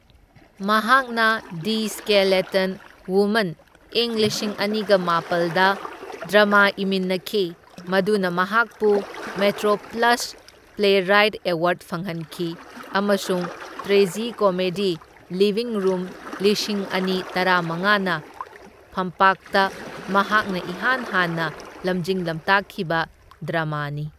ꯃꯍꯥꯛꯅ the skeleton woman ꯢꯪ ꯂꯤꯁꯤꯡ ꯑꯅꯤꯒ ꯃꯥꯄꯜꯗ ꯗ꯭ꯔꯃꯥ ꯏꯃꯤꯟꯅꯈꯤ, ꯃꯗꯨꯅ ꯃꯍꯥꯛꯄꯨ ꯃꯦꯇ꯭ꯔꯣꯄ꯭ꯂꯁ ꯄ꯭ꯂꯦꯔꯥꯢꯠ ꯑꯦꯋꯥꯔꯗ ꯐꯪꯍꯟꯈꯤ ꯑꯃꯁꯨꯡ ꯇ꯭ꯔꯦꯖꯤꯀꯣꯃꯦꯗꯤ ꯂꯤꯕꯤꯡ ꯔꯨꯝ ꯂꯤꯁꯤꯡ ꯑꯅꯤ ꯇꯔꯥꯃꯉꯥꯅ ꯐꯝꯄꯥꯛꯇ ꯃꯍꯥꯛꯅ ꯏꯍꯥꯟ ꯍꯥꯟꯅ ꯂꯝꯖꯤꯡ ꯂꯝꯇꯥꯛꯈꯤꯕ ꯗ꯭ꯔꯃꯥꯅꯤ꯫